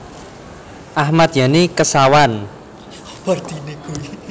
Ahmad Yani Kesawan